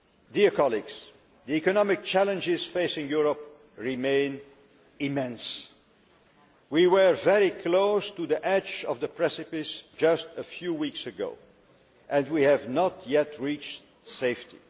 The economic challenges facing Europe remain immense. We were very close to the edge of the precipice just a few weeks ago and we have not yet reached safety.